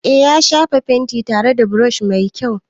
Eh, ya shafa fentin tare da brushi mai kyau.